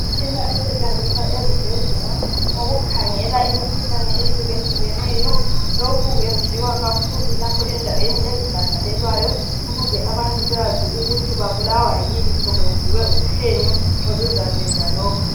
Imtshina esetshenziswa ezibhedlela okukhangela imkhuhlane ehlukehlukeneyo lokhu kwenziwa kakhulu lapha endaweni ezibhadelelwayo ukuze abantu bekwazi ukuthi babulawa yini sokwenziwe uphenyo oluzaveza lokhu.